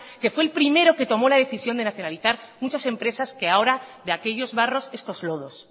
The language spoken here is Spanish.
que fue el primero que tomó la decisión de nacionalizar muchas empresas que ahora de aquellos barros estos lodos